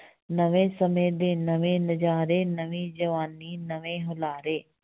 ਨਵੇਂ ਸਮੇਂ ਦੇ ਨਵੇਂ ਨਜ਼ਾਰੇ ਨਵੀਂ ਜਵਾਨੀ ਨਵੇਂ ਹੁਲਾਰੇ।